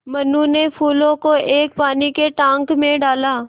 मनु ने फूलों को एक पानी के टांक मे डाला